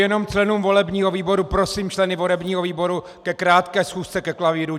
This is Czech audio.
Jenom členům volebního výboru: prosím členy volebního výboru ke krátké schůzce ke klavíru.